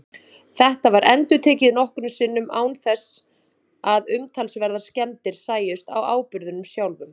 Þetta var endurtekið nokkrum sinnum án þess að umtalsverðar skemmdir sæjust á áburðinum sjálfum.